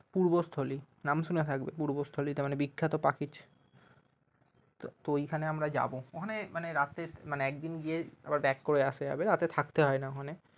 পূর্বস্থলি নাম শুনে থাকবে পূর্বস্থলিটা মানে বিখ্যাত পাখির তো ওইখানে আমরা যাবো অনেক মানে রাতে মানে একদিন গিয়ে আবার back করে আসা যাবে থাকতে হয়না ওখানে